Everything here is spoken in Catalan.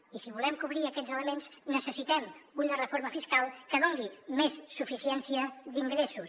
i si volem cobrir aquests elements necessitem una reforma fiscal que doni més suficiència d’ingressos